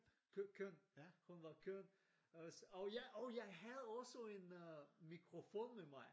Køn hun var køn. Så og jeg og jeg havde også en mikrofon med mig